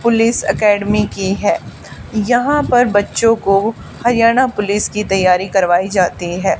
Police academy की है यहां पर बच्चों को हरियाणा पुलिस की तैयारी करवाई जाती है।